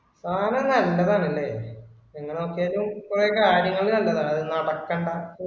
സാധനം നല്ലതാണെന്നേ. നിങ്ങള് നോക്കിയാലും കുറെ കാര്യങ്ങള് കണ്ടതാ അത് നടക്കണ്ട